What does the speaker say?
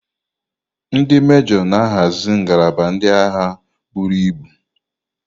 Ndi mejoo na-ahazi ngalaba ndị agha buru ibu.